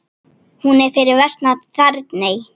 Hún er fyrir vestan Þerney.